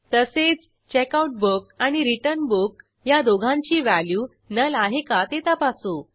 तसेच Checkout book आणि Return Book ह्या दोघांची व्हॅल्यू नुल आहे का ते तपासू